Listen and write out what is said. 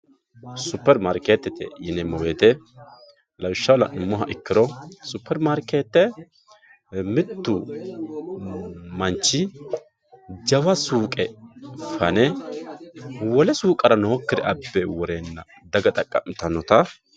Super marketete yineemo woyite lawishaho la`nemo woyite super marke mittu manchi jawa suuqe fane wole suuqara nooikire abbe worena daga xaqam`itanota